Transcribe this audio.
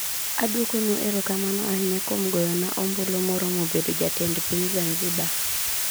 Aduokonwu erokamano ahinya kuom goyona ombulu moromobedo jatend piny Zanzibar.